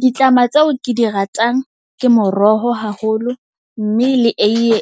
Ditlama tseo ke di ratang, ke moroho haholo mme le eiye